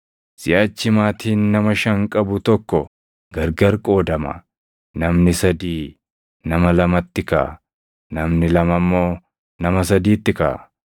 Siʼachi maatiin nama shan qabu tokko gargar qoodama; namni sadii nama lamatti kaʼa; namni lama immoo nama sadiitti kaʼa.